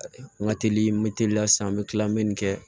N ka teli n bɛ teliya sisan n bɛ tila n bɛ nin kɛ